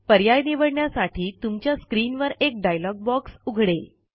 पर्याय निवडण्यासाठी तुमच्या स्क्रीनवर एक डायलॉग बॉक्स उघडेल